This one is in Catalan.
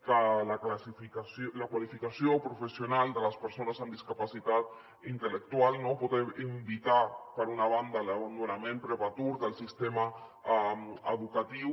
perquè la qualificació professional de les persones amb discapacitat intel·lectual pot invitar per una banda a l’abandonament prematur del sistema educatiu